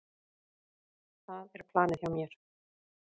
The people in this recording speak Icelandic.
Það er planið hjá mér.